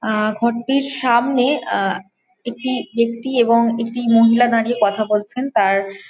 আহ ঘরটির সামনে আহ একটি ব্যক্তি এবং একটি মহিলা দাঁড়িয়ে কথা বলছেন তার --